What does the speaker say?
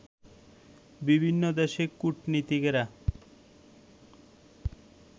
বিভিন্ন দেশের কূটনীতিকেরা